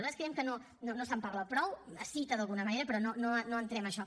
nosaltres creiem que no se’n parla prou es cita d’alguna manera però no entrem en això